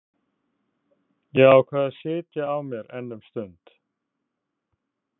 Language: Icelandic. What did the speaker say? Ég ákvað að sitja á mér enn um stund.